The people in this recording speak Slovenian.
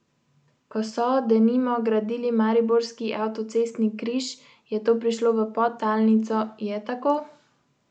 Ko so, denimo, gradili mariborski avtocestni križ, je to prišlo v podtalnico, je tako?